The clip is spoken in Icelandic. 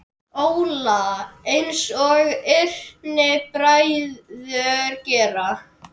Óla, einsog yngri bræður gera.